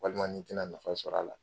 Walima n'i tɛna nafa sɔr'a la